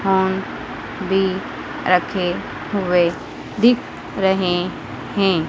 Horn भी रखे हुए दिख रहे हैं।